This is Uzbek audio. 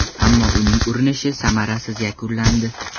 Ammo uning urinishi samarasiz yakunlandi.